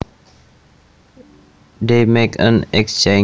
They make an exchange